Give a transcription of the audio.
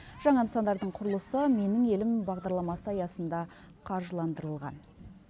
жаңа нысандардың құрылысы менің елім бағдарламасы аясында қаржыландырылған